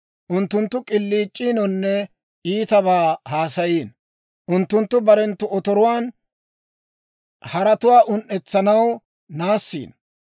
Unttunttu k'iliic'iinonne iitabaa haasayiino; unttunttu barenttu otoruwaan, haratuwaa un"etsanaw naassiino.